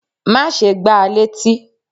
Má ṣe gbá létí!